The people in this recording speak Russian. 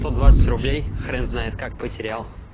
сто двадцать рублей хрен знает как потерял